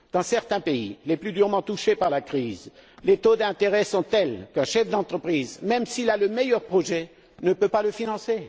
Dans certains pays les plus durement touchés par la crise les taux d'intérêt sont tels qu'un chef d'entreprise, même s'il a le meilleur projet, ne peut pas le financer.